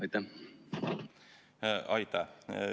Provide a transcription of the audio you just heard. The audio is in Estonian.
Aitäh!